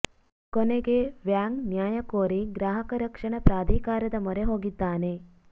ಕೊನೆಗೆ ವ್ಯಾಂಗ್ ನ್ಯಾಯ ಕೋರಿ ಗ್ರಾಹಕ ರಕ್ಷಣಾ ಪ್ರಾಧಿಕಾರದ ಮೊರೆ ಹೋಗಿದ್ದಾನೆ